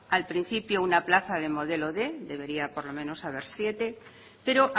al principio una plaza de modelo quinientos debería por lo menos haber siete pero